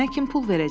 Mənə kim pul verəcək?